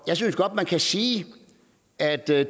jeg synes godt man kan sige at det